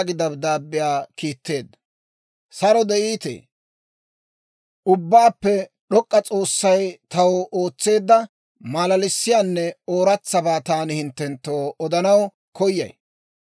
«Ubbaappe d'ok'k'iyaa S'oossay taw ootseedda malalissiyaanne ooratsabaa taani hinttenttoo odanaw koyay.